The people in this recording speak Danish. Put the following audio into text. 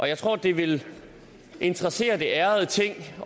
jeg tror det vil interessere det ærede ting